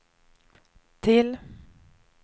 till